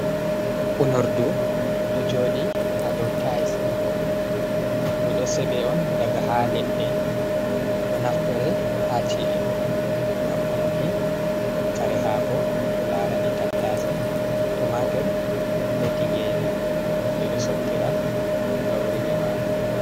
Unordu ɗo joɗi ha dow tais. Ndu ɗo seɓe on daga ha leɗɗe ɗo naftire ha chi’e ngam unuki kare hako ko larani tattase, tomatur be tingeji. Ɓe ɗo sottira gauri be marori.